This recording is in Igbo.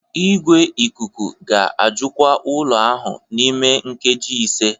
Igwe ikuku ga-ajụkwa ụlọ ahụ n'ime nkeji ise